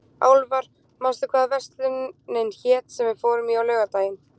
Álfar, manstu hvað verslunin hét sem við fórum í á laugardaginn?